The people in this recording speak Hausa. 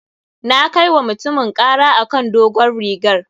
Na kai wa mutumin ƙara a kan dogon rigar.